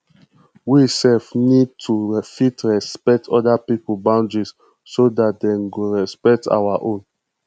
we sef need to fit respect oda pipo boundaries so dat dem go respect our own